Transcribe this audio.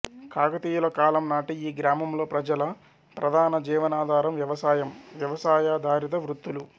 కాకతీయుల కాలం నాటి ఈ గ్రామంలో ప్రజల ప్రధాన జీవనాధారం వ్యవసాయం వ్యవసాయాధారిత వృత్తులు